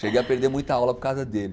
Cheguei a perder muita aula por causa dele.